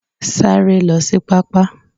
Saaré lo sí pá-pá